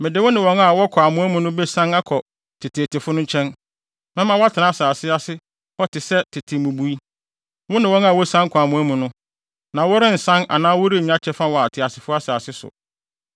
mede wo ne wɔn a wɔkɔ amoa mu no besian akɔ teteetefo no nkyɛn. Mɛma woatena asase ase hɔ te sɛ tete mmubui, wo ne wɔn a wosian kɔ amoa mu no, na worensan anaa worennya kyɛfa wɔ ateasefo asase so.